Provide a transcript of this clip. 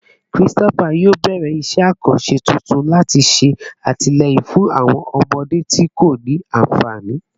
Christopher yoo bẹrẹ iṣẹ akanṣe tuntun lati ṣe atilẹyin fun awọn ọmọde ti ko ni anfani